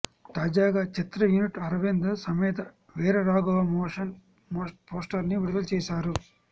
తాజగా చిత్ర unit Aravinda Sametha Veera Raghava motion poster ని విడుదల చేసారు